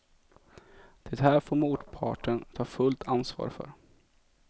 Det här får motparten ta fullt ansvar för.